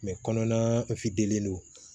kɔnɔna don